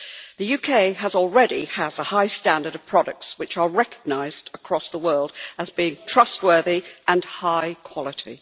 The UK already has a high standard of products which are recognised across the world as being trustworthy and high quality.